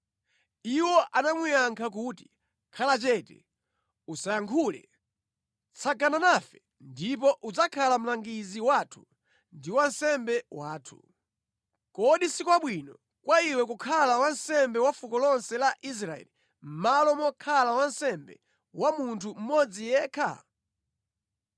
Iwo anamuyankha kuti, “Khala chete usayankhule. Tsagana nafe ndipo udzakhala mlangizi wathu ndi wansembe wathu. Kodi si kwabwino kwa iwe kukhala wansembe wa fuko lonse la Israeli mʼmalo mokhala wansembe wa munthu mmodzi yekha?”